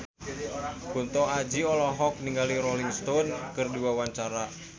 Kunto Aji olohok ningali Rolling Stone keur diwawancara